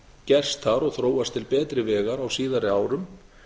gerst þar og þróast til betri vegar á síðari árum